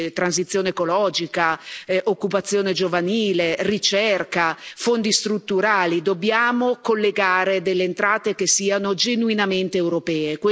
transizione ecologica, occupazione giovanile, ricerca, fondi strutturali dobbiamo collegare delle entrate che siano genuinamente europee.